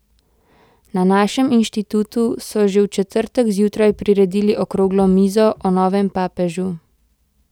Na našem inštitutu so že v četrtek zjutraj priredili okroglo mizo o novem papežu.